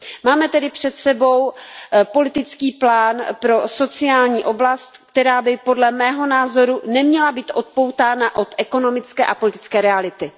Máme tedy před sebou politický plán pro sociální oblast, která by podle mého názoru neměla být odpoutána od ekonomické a politické reality.